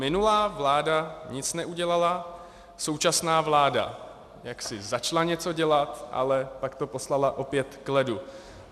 Minulá vláda nic neudělala, současná vláda jaksi začala něco dělat, ale pak to poslala opět k ledu.